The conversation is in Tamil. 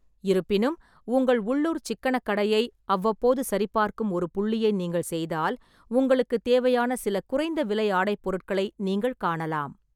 இருப்பினும், உங்கள் உள்ளூர் சிக்கனக் கடையை அவ்வப்போது சரிபார்க்கும் ஒரு புள்ளியை நீங்கள் செய்தால், உங்களுக்குத் தேவையான சில குறைந்த விலை ஆடை பொருட்களை நீங்கள் காணலாம்.